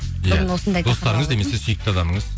иә достарыңыз немесе сүйікті адамыңыз